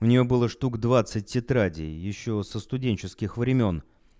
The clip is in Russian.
у неё было штук двадцать тетрадей ещё со студенческих времён